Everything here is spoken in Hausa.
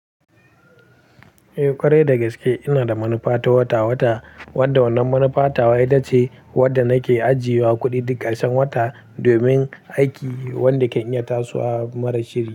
Eh, kwarai dagaske ina da manufa ta wata-wata wanda wannan manufa ta wa ita ce wanda nake ajiye wa kuɗi duk ƙarshen wata domin aiki wanda kan iya tasowa marar shiri.